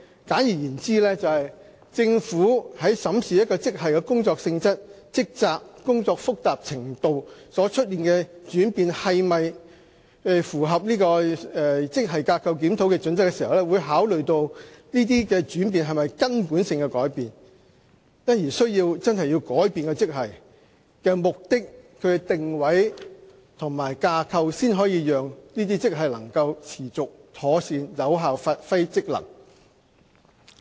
簡而言之，政府在審視一個職系的工作性質、職責和工作複雜程度所出現的轉變，是否符合職系架構檢討的準則時，會考慮這些轉變是否根本性的改變，因而真的需要改變該職系的定位及架構，才能讓這些職系可持續及妥善有效地發揮職能。